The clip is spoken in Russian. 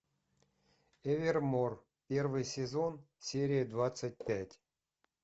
эвермор первый сезон серия двадцать пять